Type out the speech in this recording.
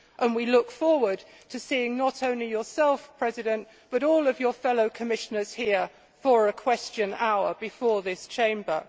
We look forward to seeing not only yourself, Mr Barroso, but all of your fellow commissioners here for a question hour before this Chamber.